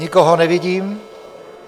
Nikoho nevidím.